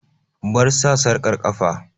Bar sa sarƙar ƙafa!